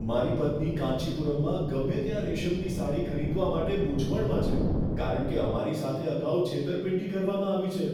મારી પત્ની કાંચીપુરમમાં ગમે ત્યાં રેશમની સાડી ખરીદવા માટે મૂંઝવણમાં છે કારણ કે અમારી સાથે અગાઉ છેતરપિંડી કરવામાં આવી છે.